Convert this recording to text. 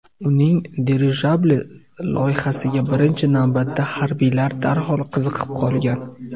Uning dirijabli loyihasiga birinchi navbatda harbiylar darhol qiziqib qolgan.